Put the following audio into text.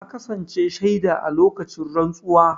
Na kasance shaida a lokacin rantsuwa.